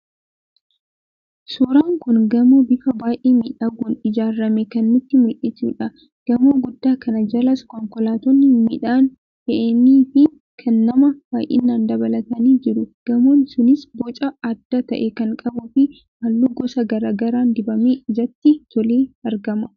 Suuraan kun gamoo bifa baay'ee miidhaguun ijaarame kan nutti mul'isudha. Gamoo guddaa kana jalas konkolaattonni midhaan fe'anii fi kan namaa baay'inaan dhaabatanii jiru. Gamoon sunis boca adda ta'e kan qabuu fi halluu gosa garaa garaan dibamee ijatti tolee argama.